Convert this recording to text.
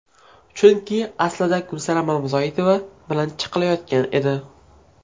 Chunki aslida Gulsanam Mamazoitova bilan chiqilayotgan edi.